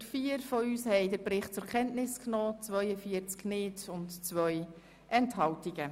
104 von uns Ratsmitgliedern haben den Bericht zur Kenntnis genommen, 42 nicht und zwei Mitglieder haben sich der Stimme enthalten.